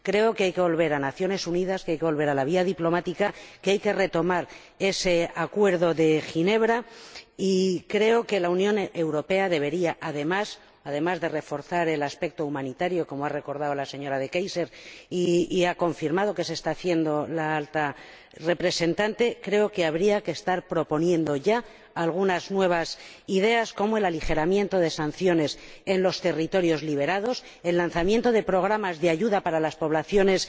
Creo que hay que volver a las Naciones Unidas, que hay que volver a la vía diplomática, que hay que retomar ese acuerdo de Ginebra, y creo que la Unión Europea, además de reforzar el aspecto humanitario —como ha recordado la señora De Keyser y ha confirmado que se está haciendo la Alta Representante—, debería estar proponiendo ya algunas nuevas ideas, como el aligeramiento de sanciones en los territorios liberados y el lanzamiento de programas de ayuda para las poblaciones